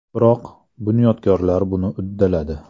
Biroq, bunyodkorlar buni uddaladi.